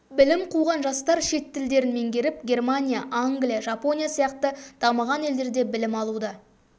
білім қуған жастар шет тілдерін меңгеріп германия англия жапония сияқты дамыған елдерде білім алуда